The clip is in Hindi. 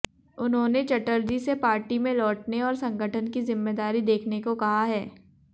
उन्होंने चटर्जी से पार्टी में लौटने और संगठन की जिम्मेदारी देखने को कहा है